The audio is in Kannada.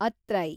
ಅತ್ರೈ